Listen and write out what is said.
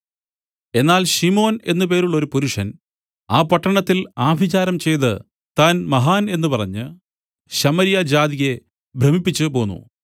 എന്നാൽ ശിമോൻ എന്ന് പേരുള്ളോരു പുരുഷൻ ആ പട്ടണത്തിൽ ആഭിചാരം ചെയ്ത് താൻ മഹാൻ എന്ന് പറഞ്ഞ് ശമര്യ ജാതിയെ ഭ്രമിപ്പിച്ചുപോന്നു